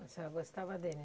A senhora gostava dele?